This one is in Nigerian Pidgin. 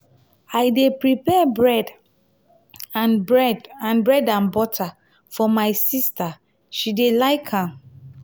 i dey prepare bread and bread and bread and butter for my sista she dey like am.